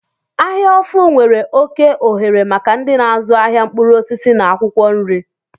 Ahia ofu nwere oke ohere maka ndị na-azụ ahịa mkpụrụ osisi na akwụkwọ nri.